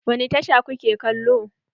Wani tasha kuke kalo?